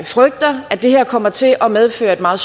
frygter at det her kommer til at medføre et meget